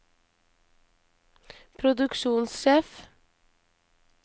produksjonssjef